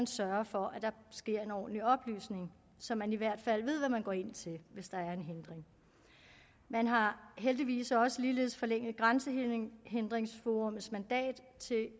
sørge for at der sker en ordentlig oplysning så man i hvert fald ved hvad man går ind til hvis der er en hindring man har heldigvis også ligeledes forlænget grænsehindringsforummets mandat